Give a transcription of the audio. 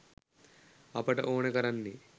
අපට ඕනෙ කරන්නේ